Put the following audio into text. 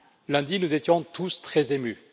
Lundi, nous étions tous très émus.